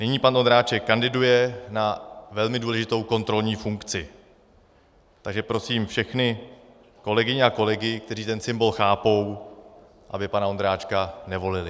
Nyní pan Ondráček kandiduje na velmi důležitou kontrolní funkci, takže prosím všechny kolegyně a kolegy, kteří ten symbol chápou, aby pana Ondráčka nevolili.